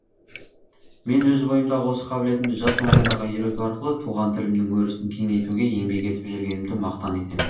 мен өз бойымдағы осы қабілетімді жас мамандарға үйрету арқылы туған тілімнің өрісін кеңейтуге еңбек етіп жүргенімді мақтан етемін